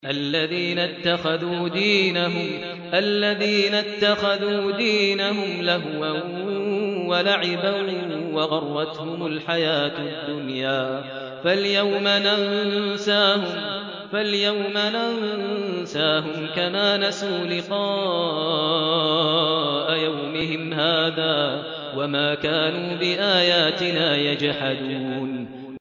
الَّذِينَ اتَّخَذُوا دِينَهُمْ لَهْوًا وَلَعِبًا وَغَرَّتْهُمُ الْحَيَاةُ الدُّنْيَا ۚ فَالْيَوْمَ نَنسَاهُمْ كَمَا نَسُوا لِقَاءَ يَوْمِهِمْ هَٰذَا وَمَا كَانُوا بِآيَاتِنَا يَجْحَدُونَ